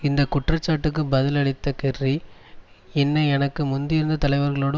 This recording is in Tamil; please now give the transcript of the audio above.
இந்த குற்றச்சாட்டுக்கு பதிலளித்த கெர்ரி என்னை எனக்கு முந்தியிருந்த தலைவர்களோடு